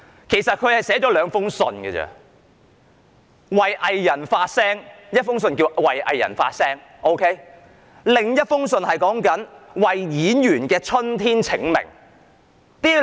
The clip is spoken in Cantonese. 其實，他只是寫了兩封信：一封題為"為藝人發聲"，另一封題為"為演員的春天請命"。